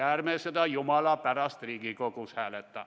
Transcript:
Ärme seda jumala pärast Riigikogus hääletame.